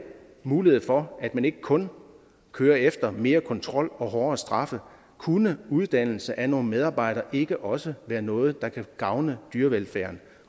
mulighed for at man ikke kun går efter mere kontrol og hårdere straffe kunne uddannelse af nogle medarbejdere ikke også være noget der kunne gavne dyrevelfærden